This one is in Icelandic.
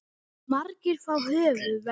Margir fá höfuðverk.